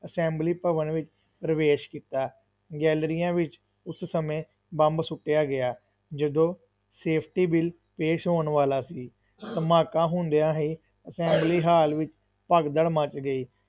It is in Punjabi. ਅਸੈਂਬਲੀ ਭਵਨ ਵਿੱਚ ਪ੍ਰਵੇਸ਼ ਕੀਤਾ, ਗੈਲਰੀਆਂ ਵਿੱਚ ਉਸ ਸਮੇਂ ਬੰਬ ਸੁੱਟਿਆ ਗਿਆ, ਜਦੋਂ ਸੇਫਟੀ ਬਿੱਲ ਪੇਸ਼ ਹੋਣ ਵਾਲਾ ਸੀ ਧਮਾਕਾ ਹੁੰਦਿਆਂ ਹੀ ਅਸੈਂਬਲੀ ਹਾਲ ਵਿੱਚ ਭਗਦੜ ਮੱਚ ਗਈ।